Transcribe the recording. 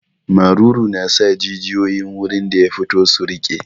Maruru na sa jijiyoyin gurin da ya fito su riƙe.